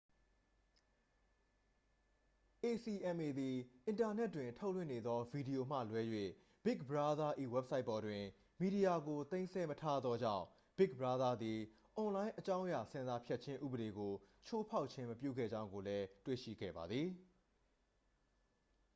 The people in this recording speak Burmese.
acma သည် အင်တာနက်တွင်ထုတ်လွှင့်နေသောဗီဒီယိုမှလွဲ၍ big brother ၏ဝဘ်ဆိုက်ပေါ်တွင် မီဒီယာကို သိမ်းဆည်းမထားသောကြောင့် big brother သည် အွန်လိုင်းအကြောင်းအရာဆင်ဆာဖြတ်ခြင်းဥပဒေကို ချိုးဖောက်ခြင်းမပြုခဲ့ကြောင်းကိုလည်း တွေ့ရှိခဲ့ပါသည်